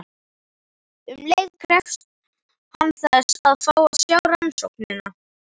Um leið krefst hann þess að fá að sjá rannsóknina.